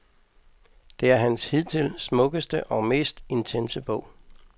Det er hans hidtil smukkeste og mest intense bog.